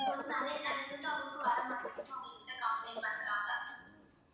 இங்க வந்து நிறைய channels வந்து அவங்களுக்கு வரமாட்டிங்குதுனு அவங்ககிட்ட complaint பண்றாங்க